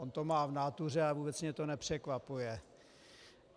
On to má v nátuře a vůbec mě to nepřekvapuje.